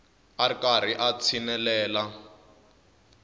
a ri karhi a tshinelela